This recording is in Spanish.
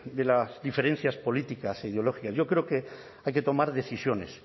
de las diferencias políticas e ideológicas yo creo que hay que tomar decisiones